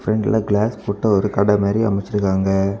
பிரண்ட்ல கிளாஸ் போட்ட ஒரு கடை மாரி அமச்சுருக்காங்க.